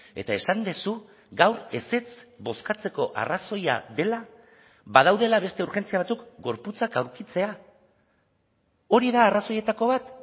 eta esan duzu gaur ezetz bozkatzeko arrazoia dela badaudela beste urgentzia batzuk gorputzak aurkitzea hori da arrazoietako bat